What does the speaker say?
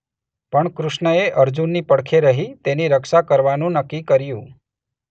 પણ કૃષ્ણએ અર્જુનની પડખે રહી તેની રક્ષા કરવાનું નક્કી કર્યું.